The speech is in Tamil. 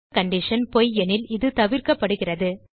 மேலுள்ள கண்டிஷன் பொய் எனில் இது தவிர்க்கப்படுகிறது